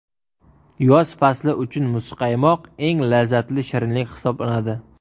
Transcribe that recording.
Yoz fasli uchun muzqaymoq eng lazzatli shirinlik hisoblanadi.